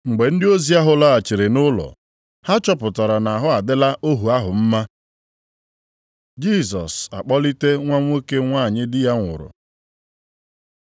Mgbe ndị ozi ahụ laghachiri nʼụlọ, ha chọpụtara na ahụ adịla ohu ahụ mma. Jisọs akpọlite nwa nwoke nwanyị di ya nwụrụ